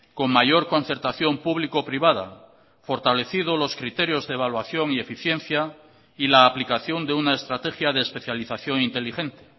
con mayor concertación público privada fortalecido los criterios de evaluación y eficiencia y la aplicación de una estrategia de especialización inteligente